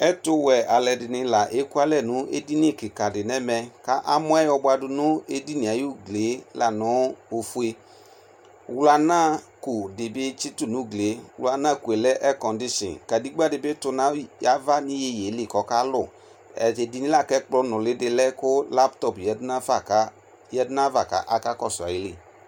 Ɛtʋwɛ alʋ ɛdini leakʋalɛ nʋ edini di nʋ ɛmɛ kʋ amɔɛ yɔbʋadʋ nʋ edinie ayʋ ʋglie lanʋ ofue wlanako dibi atsitʋ nʋ ʋglie wlanako lɛ ɛrcɔdishin kadegba dibi tʋ nʋ ava nʋ iyeyeli kʋ ɔkalʋ tatu edinie la kʋ ɛkplɔ nʋli di lɛ kʋ laptop yanʋ ayava kʋ aka kɔsʋ